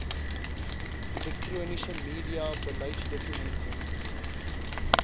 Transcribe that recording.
elektroniese media beleidsdokumente